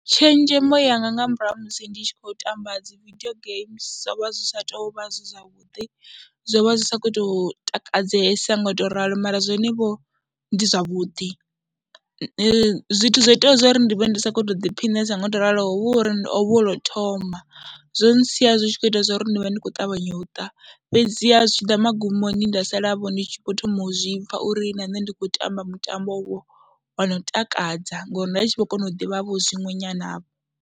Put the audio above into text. Tshenzhemo yanga nga murahu ha musi ndi tshi khou tamba dzi vidio geimi zwo vha zwi sa tou vha zwi zwavhuḓi zwo vha zwi sa khou tou takadzesa ngo u tou ralo mara zwonevho ndi zwavhuḓi. Zwi zwithu zwo itaho zwo ri ndi vhe ndi sa khou tou ḓiphinesa ngo tou ralo ho vha hu uri ho vha hu lwo thoma, zwo ntsia zwi khou ita zwo ri ndi vha ndi khou ṱavhanya u ṱa, fhedziha zwi tshi ḓa magumoni nda salavho ndi tshi khou thoma u zwi pfha uri na nṋe ndi khou tamba mutambovho wo no takadza ngori nda tshi vho kona u ḓivhavho zwiṅwe nyanavho.